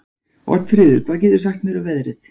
Oddfríður, hvað geturðu sagt mér um veðrið?